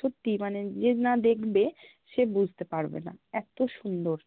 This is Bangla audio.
সত্যি, মানে যে না দেখ্বে সে বুঝ্তে পারবে না, এত সুন্দর